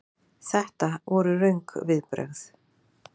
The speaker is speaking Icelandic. Þetta voru röng viðbrögð.